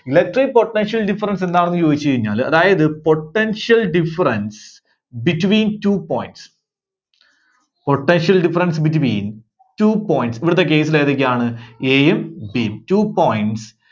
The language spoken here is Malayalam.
Electric potential difference എന്താണെന്ന് ചോദിച്ചു കഴിഞ്ഞാല്, അതായത് Potential difference between two points potential difference between two points ഇവിടുത്തെ case ൽ ഏതൊക്കെയാണ് A യും B യും two points